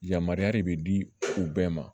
Yamaruya de bɛ di u bɛɛ ma